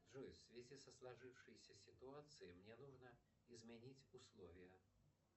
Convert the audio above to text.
джой в связи со сложившейся ситуацией мне нужно изменить условия